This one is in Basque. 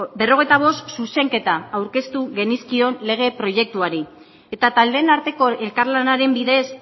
berrogeita bost zuzenketa aurkeztu genizkion lege proiektuari eta taldeen arteko elkarlanaren bidez